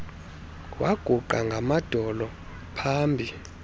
waguqa ngamadolo pahambi